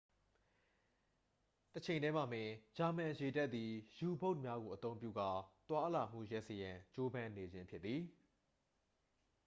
တချိန်ထဲမှာပင် ဂျာမန်ရေတပ်သည် ယူဘုတ်များကို အသုံးပြုကာ သွားလာမှုရပ်စေရန်ကြိုးပမ်းနေခြင်းဖြစ်သည်